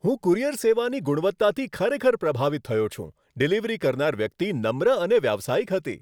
હું કુરિયર સેવાની ગુણવત્તાથી ખરેખર પ્રભાવિત થયો છું. ડિલિવરી કરનાર વ્યક્તિ નમ્ર અને વ્યાવસાયિક હતી.